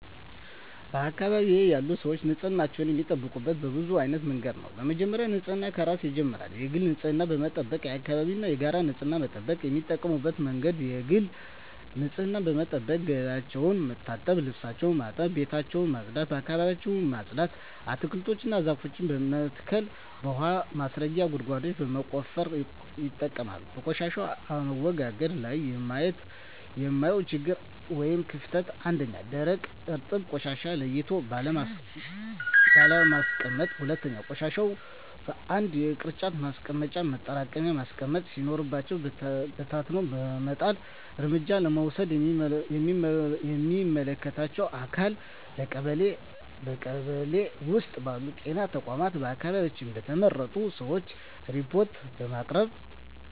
በአካባቢዬ ያሉ ሰዎች ንፅህናቸውን የሚጠብቁት በብዙ አይነት መንገድ ነው በመጀመሪያ ንፅህና ከራስ ይጀምራል የግል ንፅህናን በመጠበቅ የአካባቢን እና የጋራ ንፅህና መጠበቅ። የሚጠቀሙበት መንገድ የግል ንፅህናቸውን በመጠበቅ ገላቸውን መታጠብ ልብሳቸውን ማጠብ ቤታቸውን ማፅዳት አካባቢያቸውን ማፅዳት። አትክልቶችን እና ዛፎችን በመትከል የውሀ ማስረጊያ ጉድጓዶችን በመቆፈር ይጠቀማሉ። በቆሻሻ አወጋገድ ላይ የማየው ችግር ወይም ክፍተት 1ኛ, ደረቅና እርጥብ ቆሻሻዎችን ለይቶ ባለማስቀመጥ 2ኛ, ቆሻሻዎችን በአንድ የቅርጫት ማስቀመጫ ማጠራቀሚያ ማስቀመጥ ሲኖርብን በታትኖ በመጣል። እርምጃ ለመውሰድ ለሚመለከተው አካል ለቀበሌ ,በቀበሌ ውስጥ ባሉ ጤና ተቋማት በአካባቢያችን በተመረጡ ሰዎች ሪፓርት በማቅረብ።